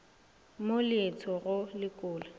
mo le tho go lekola